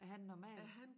Er han normal